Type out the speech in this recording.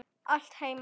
Allt heima.